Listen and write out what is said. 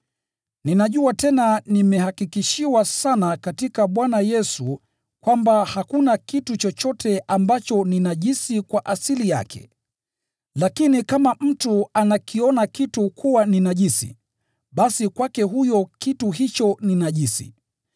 Ninajua tena nimehakikishiwa sana katika Bwana Yesu kwamba hakuna kitu chochote ambacho ni najisi kwa asili yake. Lakini kama mtu anakiona kitu kuwa ni najisi, basi kwake huyo kitu hicho ni najisi.